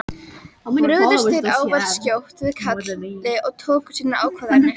Brugðust þeir ávallt skjótt við kalli og tóku sínar ákvarðanir.